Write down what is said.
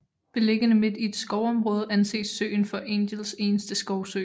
Beliggende midt i et skovområde anses søen for Angels eneste skovsø